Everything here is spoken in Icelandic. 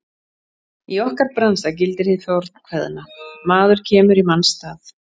Í okkar bransa gildir hið fornkveðna: Maður kemur í manns stað.